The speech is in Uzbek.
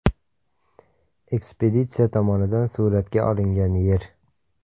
Ekspeditsiya tomonidan suratga olingan Yer.